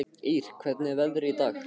Ýr, hvernig er veðrið í dag?